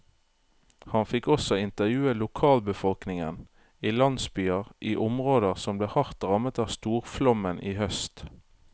Han fikk også intervjue lokalbefolkningen i landsbyer i områder som ble hardt rammet av storflommen i høst.